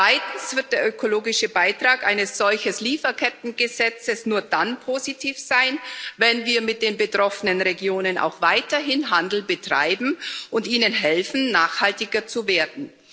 Zweitens wird der ökologische Beitrag eines solchen Lieferkettengesetzes nur dann positiv sein, wenn wir mit den betroffenen Regionen auch weiterhin Handel betreiben und ihnen helfen, nachhaltiger zu werden.